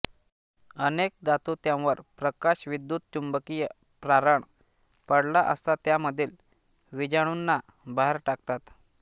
अनेक धातु त्यांवर प्रकाश विद्युतचुंबकीय प्रारण पडला असता त्यांमधील विजाणूंना बाहेर टाकतात